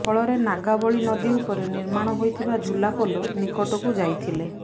ଫଳରେ ନାଗାବଳୀ ନଦୀ ଉପରେ ନିର୍ମାଣ ହୋଇଥିବା ଝୁଲା ପୋଲ ନିକଟକୁ ଯାଇଥିଲେ